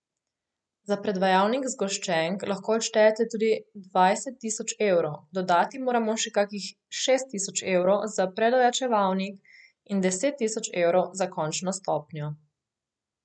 Za predvajalnik zgoščenk lahko odštejete tudi dvajset tisoč evrov, dodati moramo še kakšnih šest tisoč evrov za predojačevalnik in deset tisoč evrov za končno stopnjo.